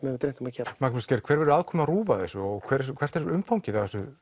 hefur dreymt að gera Magnús Geir hver verður aðkoma RÚV að þessu og hvert er umfangið